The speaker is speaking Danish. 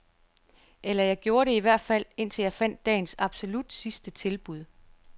Eller jeg gjorde det i hvert fald, indtil jeg fandt dagens absolut sidste tilbud.